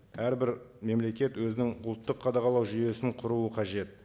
әрбір мемлекет өзінің ұлттық қадағалау жүйесін құруы қажет